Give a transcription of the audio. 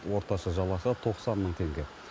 орташа жалақы тоқсан мың теңге